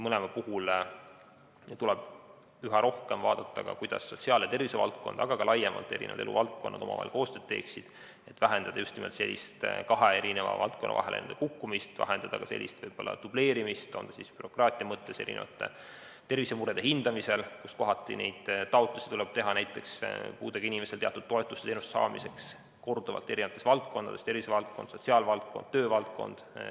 Mõlema puhul tuleb üha rohkem vaadata ka seda, kuidas sotsiaal‑ ja tervisevaldkond, aga ka laiemalt eri eluvaldkonnad omavahel koostööd teeksid, et vähendada just nimelt sellist kahe valdkonna vahele kukkumist, vähendada ka dubleerimist, on see siis bürokraatia mõttes tervisemurede hindamisel, kui kohati tuleb näiteks puudega inimestel teatud toetuste-teenuste saamiseks taotlusi teha korduvalt eri valdkondades: tervisevaldkonnas, sotsiaalvaldkonnas, töövaldkonnas.